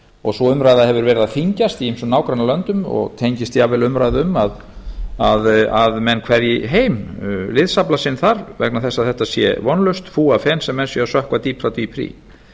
og sú umræða hefur verið að þyngjast í ýmsum nágrannalöndum og tengist jafnvel umræðu um að menn kveðji heim liðsafla sinn þar vegna þess að þetta sé vonlaust fúafen sem menn séu að sökkva dýpra og dýpra í